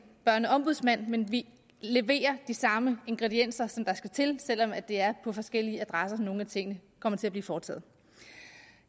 børneombudsmand men vi leverer de samme ingredienser der skal til selv om det er på forskellige adresser nogle af tingene kommer til at blive foretaget